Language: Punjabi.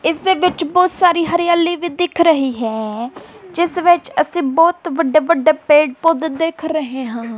ਇਸ ਦੇ ਵਿੱਚ ਬਹੁਤ ਸਾਰੀ ਹਰਿਆਲੀ ਵੀ ਦਿੱਖ ਰਹੀ ਹੈ ਜਿਸ ਵਿੱਚ ਅਸੀਂ ਬਹੁਤ ਵੱਡੇ ਵੱਡੇ ਪੇੜ ਪੌਦੇ ਦੇਖ ਰਹੇ ਹਾਂ।